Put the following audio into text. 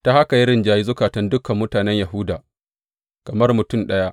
Ta haka ya rinjayi zukatan dukan mutane Yahuda, kamar mutum ɗaya.